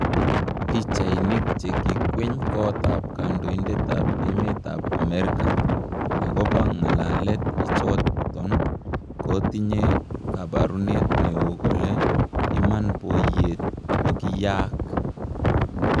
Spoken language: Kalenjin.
Pichainik che kikwiny kot ap kandoitet ap emet ap amerika, agopa ngalalet ichaton kotinye kaparunet neo kole ,"iman poiyet kokiyaak."